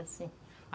Assim.